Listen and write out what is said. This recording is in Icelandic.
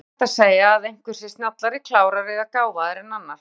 En er hægt að segja að einhver sé snjallari, klárari eða gáfaðri en annar?